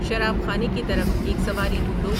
شراب خانے کی طرف ایک سواری ڈھونڈو